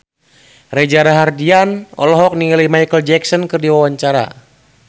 Reza Rahardian olohok ningali Micheal Jackson keur diwawancara